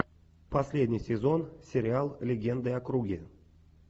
последний сезон сериал легенды о круге